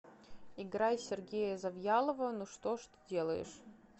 играй сергея завьялова ну что ж ты делаешь